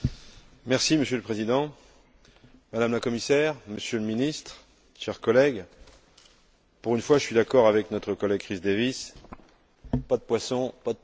Monsieur le Président, Madame la Commissaire, Monsieur le Ministre, chers collègues, pour une fois je suis d'accord avec notre collègue Chris Davies pas de poissons, pas de pêcheurs!